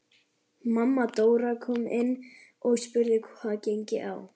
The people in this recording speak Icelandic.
Mamma Dóra kom inn og spurði hvað gengi á.